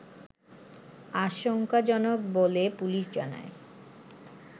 আশংকাজনক বলে পুলিশ জানায়